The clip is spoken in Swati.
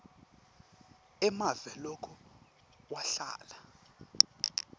emave loke wahlala